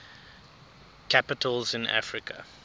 capitals in africa